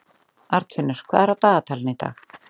Arnfinnur, hvað er á dagatalinu í dag?